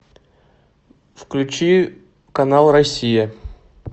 включи канал россия